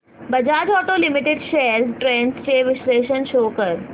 Bajaj auto limited shares trends चे विश्लेषण शो कर